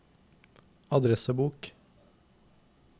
adressebok